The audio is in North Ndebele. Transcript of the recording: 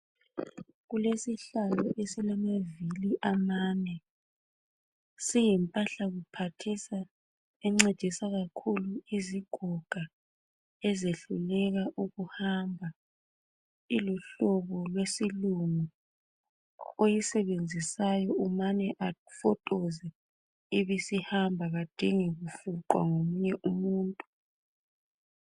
Kulesihlalo esilamavili amane. Siyimpahla, kuphathisa. Encedisa kakhulu izigoga. Ezehluleka ukuhamba. Iluhlobo lwesilungu. Oyisebenzisayo, umane afotoze, ibisihamba. Kadingi kufuqwa ngomunye umuntu,